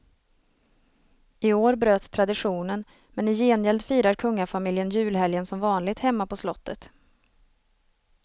I år bröts traditionen, men i gengäld firar kungafamiljen julhelgen som vanligt hemma på slottet.